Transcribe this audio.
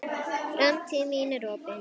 Framtíð mín er opin.